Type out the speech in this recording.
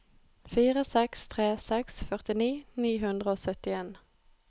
fire seks tre seks førtini ni hundre og syttien